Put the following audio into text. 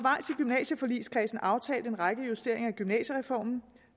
gymnasieforligskredsen aftalt en række justeringer af gymnasiereformen